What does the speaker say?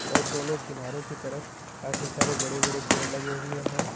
और दोनों किनारों के तरफ काफी सारे बड़े बड़े पेड़ लगें हुये है।